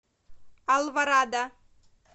алворада